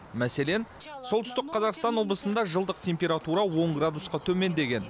мәселен солтүстік қазақстан облысында жылдық температура он градусқа төмендеген